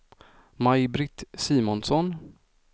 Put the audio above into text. Maj-Britt Simonsson